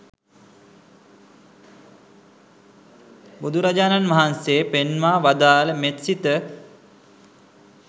බුදුරජාණන් වහන්සේ පෙන්වා වදාළ මෙත්සිත